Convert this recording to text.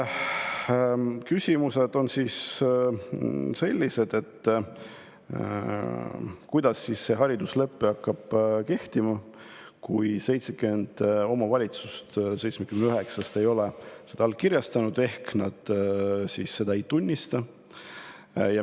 Küsimus on, kuidas hakkab see hariduslepe kehtima, kui 70 omavalitsust 79-st ei ole seda allkirjastanud ehk nad ei tunnista seda.